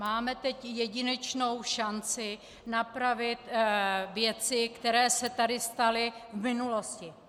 Máme teď jedinečnou šanci napravit věci, které se tady staly v minulosti.